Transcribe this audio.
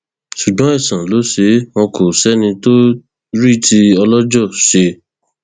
ṣùgbọn àìsàn ló ṣeé wò kó sẹni tó rí tí ọlọjọ ṣe